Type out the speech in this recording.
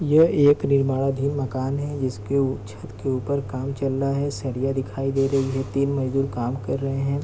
ये एक निर्माणाधीन मकान है जिसके छत के ऊपर काम चल रहा है सरिया दिखाई दे रही है तीन मजदूर काम कर रहे है।